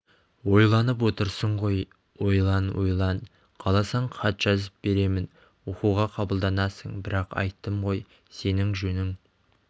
ойланып отырсың ғой ойлан ойлан қаласаң хат жазып беремін оқуға қабылданасың бірақ айттым ғой сенің жөнің